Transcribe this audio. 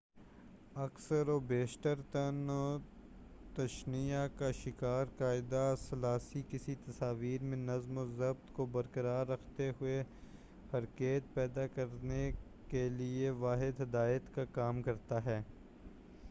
اکثر و بیشتر طعن و تشنیع کا شکار قاعدہ ثلاثی کسی تصویر میں نظم و ضبط کو برقرار رکھتے ہوئے حرکیت پیدا کرنے کے لئے واحد ہدایت کا کام کرتا ہے